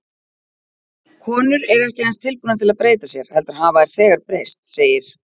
Konur eru ekki aðeins tilbúnar til að breyta sér, heldur hafa þær þegar breyst, segir